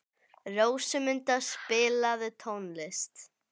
Rósmunda, spilaðu tónlist.